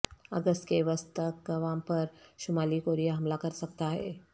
اگست کے وسط تک گوام پر شمالی کوریا حملہ کر سکتا ہے